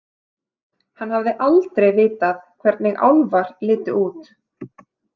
Hann hafði aldrei vitað hvernig álfar litu út.